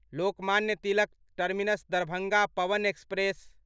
Lokmanya Tilak Terminus Darbhanga Pawan express